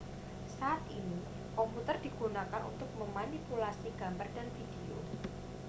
saat ini komputer digunakan untuk memanipulasi gambar dan video